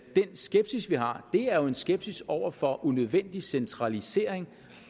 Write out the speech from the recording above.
den skepsis vi har er jo en skepsis over for unødvendig centralisering